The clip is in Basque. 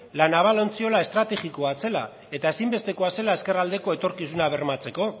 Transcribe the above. la naval ontziola estrategiko bat zela eta ezinbestekoa zela ezkerraldeko etorkizuna bermatzeko